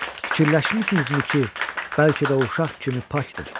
Fikirləşmisinizmi ki, bəlkə də o uşaq kimi pakdır?